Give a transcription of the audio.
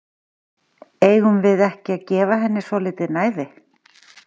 Eigum við ekki að gefa henni svolítið næði?